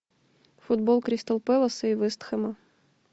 футбол кристал пэлас и вест хэма